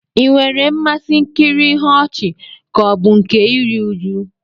Ị nwere mmasị nkiri ihe ọchị ka ọ bụ nke iri uju?